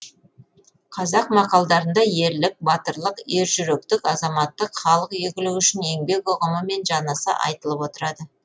қазақ мақалдарында ерлік батырлық ержүректік азаматтық халық игілігі үшін еңбек ұғымы мен жанаса айтылып отырады